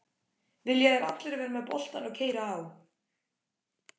Vilja þeir allir vera með boltann og keyra á?